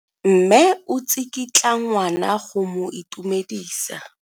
Mme o tsikitla ngwana go mo itumedisa.